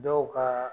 Dɔw ka